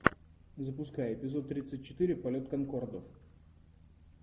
запускай эпизод тридцать четыре полет конкордов